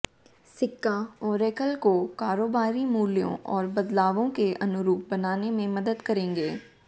सिक्का ऑरेकल को कारोबारी मूल्यों और बदलावों के अनुरूप बनाने में मदद करेंगे